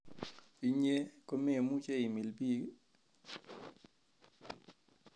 Inye komemuche imil biik i?